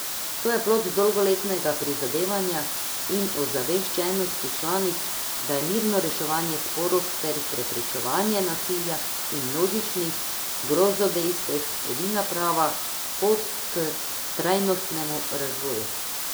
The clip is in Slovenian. To je plod dolgoletnega prizadevanja in ozaveščenosti članic, da je mirno reševanje sporov ter preprečevanje nasilja in množičnih grozodejstev edina prava pot k trajnostnemu razvoju.